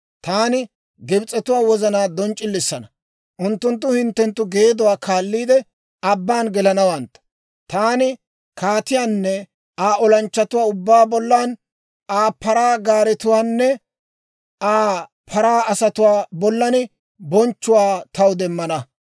Taani Gibs'etuwaa wozanaa donc'c'ilisina, unttunttu hinttenttu geeduwaa kaalliide abbaan gelanawantta. Taani kaatiyaanne Aa olanchchatuwaa ubbaa bollan, Aa paraa gaaretuwaanne Aa paraa asatuwaa bollan bonchchuwaa taw demmana.